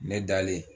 Ne dalen